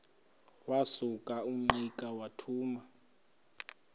wasuka ungqika wathuma